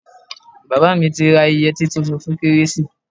Bàbá mi ti ra yẹtí tuntun fún kérésì.